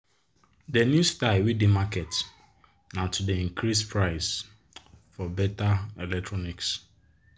de new style wey dey market na to dey increase price for better electronic.